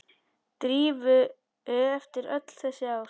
Drífu eftir öll þessi ár.